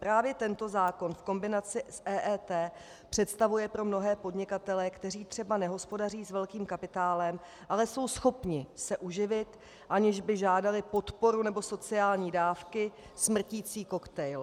Právě tento zákon v kombinaci s EET představuje pro mnohé podnikatele, kteří třeba nehospodaří s velkým kapitálem, ale jsou schopni se uživit, aniž by žádali podporu nebo sociální dávky, smrticí koktejl.